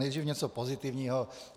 Nejdříve něco pozitivního.